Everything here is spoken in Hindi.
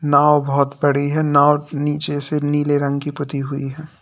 नाव बहोत बड़ी है नाव नीचे से नीले रंग की पूती हुई है।